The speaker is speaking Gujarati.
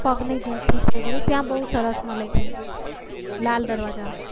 પગ ની જૂતી છે એ બધું ત્યાં બહુ સરસ મળે છે. લાલ દરવાજા.